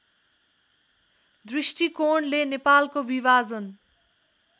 दृष्टिकोणले नेपालको विभाजन